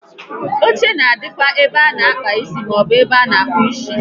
Oche na adịkwa n'ebe a na àkpà isi maọbụ n'ebe a na akpụ isi